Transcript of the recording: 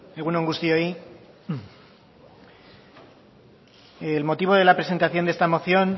egun on guztioi el motivo de la presentación de esta moción